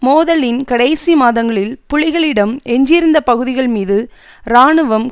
மோதலின் கடைசி மாதங்களில் புலிகளிடம் எஞ்சியிருந்த பகுதிகள் மீது இராணுவம்